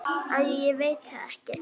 Æi ég veit það ekki.